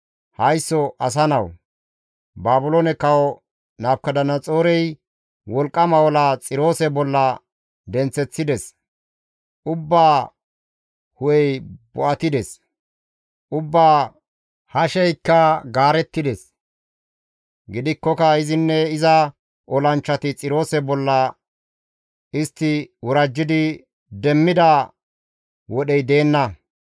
«Haysso asa nawu! Baabiloone Kawo Nabukadanaxoorey wolqqama ola Xiroose bolla denththeththides; ubbaa hu7ey bo7atides; ubbaa hasheykka gaarettides; gidikkoka izinne iza olanchchati Xiroose bolla istti worajjidi demmida wodhey deenna.